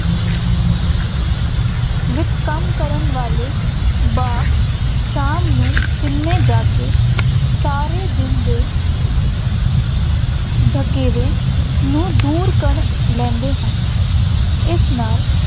ਵਿੱਚ ਕੰਮ ਕਰਨ ਵਾਲੇ ਬਾਬ ਸ਼ਾਮ ਨੂੰ ਸਿਨੇਮੇ ਜਾ ਕੇ ਸਾਰੇ ਦਿਨ ਦੇ ਥਕੇਵੇਂ ਨੂੰ ਦੂਰ ਕਰ ਲੈਂਦੇ ਹਨ, ਇਸ ਨਾਲ